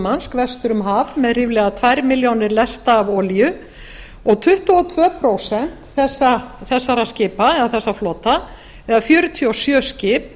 murmansk vestur um haf með ríflega tvær milljónir lesta af olíu og tuttugu og tvö prósent þessa flota eða fjörutíu og sjö skip